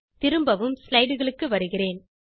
திரும்பவும் slideகளுக்குச் வருகிறேன்